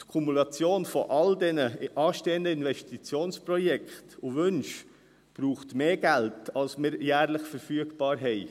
Die Kumulation all dieser anstehenden Investitionsprojekte und -wünsche braucht mehr Geld, als uns jährlich zur Verfügung steht.